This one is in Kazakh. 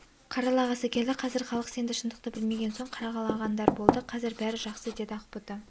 қаралағысы келді қазір халық сенді шындықты білмеген соң қаралағандар болды қазір бәрі жақсы деді ақбота